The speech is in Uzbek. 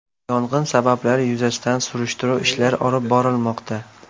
Yong‘in sabablari yuzasidan surishtiruv ishlari olib borilmoqda.